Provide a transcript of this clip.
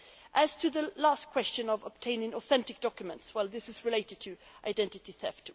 As to the last question on obtaining authentic documents, this is related to identity theft.